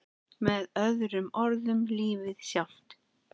Með öðrum orðum lífið sjálft.